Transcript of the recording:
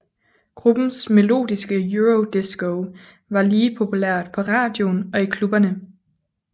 Gruppens melodiske eurodisco var lige populært på radioen og i klubberne